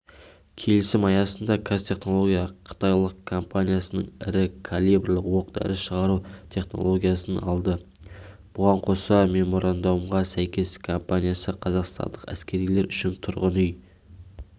келісім аясында қазтехнология қытайлық компаниясынан ірі калибрлі оқ-дәрі шығару технологиясын алды бұған қоса меморандумға сәйкес компаниясы қазақстандық әскерилер үшін тұрғын үй